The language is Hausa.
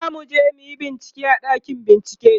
zamuje muyi bincike a ɗakin bincike